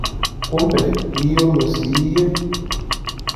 Kumbe iyiolo siiye?